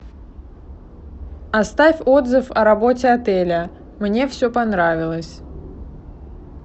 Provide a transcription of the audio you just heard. оставь отзыв о работе отеля мне все понравилось